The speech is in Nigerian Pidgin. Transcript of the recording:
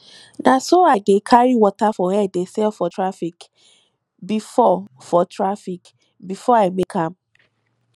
na so i dey carry water for head dey sell for traffic before for traffic before i make am